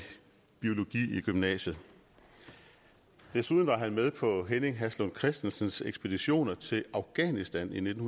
biologi i gymnasiet desuden var han med på henning haslund christensens ekspeditioner til afghanistan i nitten